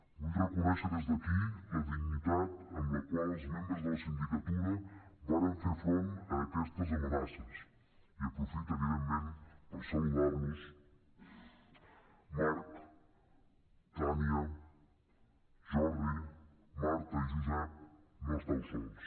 vull reconèixer des d’aquí la dignitat amb la qual els membres de la sindicatura varen fer front a aquestes amenaces i aprofito evidentment per saludar los marc tània jordi marta i josep no esteu sols